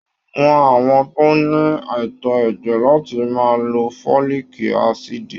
Wọn àwọn tó ní àìtó ẹ̀jẹ̀ láti máa lò foliki asidi.